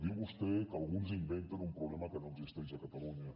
diu vostè que alguns inventen un problema que no existeix a catalunya